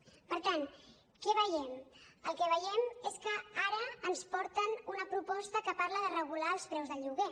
per tant què veiem el que veiem és que ara ens porten una proposta que parla de regular els preus del lloguer